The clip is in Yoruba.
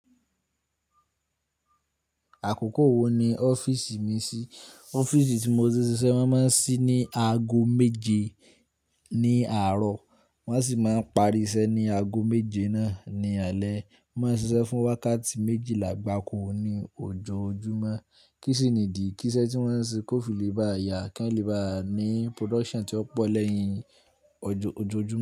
Àkókò wo ni ọ́fíìsì mi ṣí? Ọ́fíìsì tí mo ti ń ṣiṣẹ́ máa ń ṣí ní aago méje ní àárọ̀, wọ́n sì máa ń parí iṣẹ́ ní aago méje náà ni alẹ́. Wọ́n máa ń ṣiṣẹ́ fún wákàtí méjìlá gbáko ní ojoojúmọ́. Kí sì ni ìdí kí iṣẹ́ tí wọ́n ń ṣe kó fi lè bá yà kí wọ́n lè bá ní production tí ó pọ̀ lẹ́yìn ojoojúmọ́?